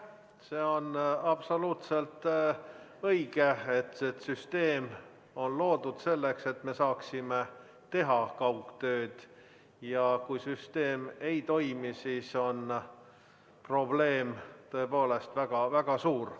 See on absoluutselt õige, et see süsteem on loodud selleks, et me saaksime teha kaugtööd, ja kui süsteem ei toimi, siis on probleem tõepoolest väga-väga suur.